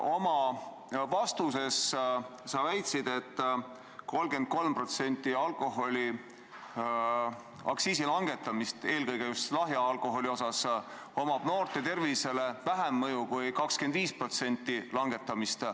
Oma vastuses sa väitsid, et kui langetada 33% lahja alkoholi aktsiisi, siis on sellel noorte tervisele väiksem mõju kui 25%-sel langetamisel.